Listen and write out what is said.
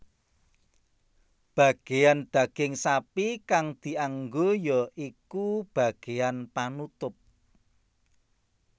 Bageyan daging sapi kang dianggo ya iku bageyan panutup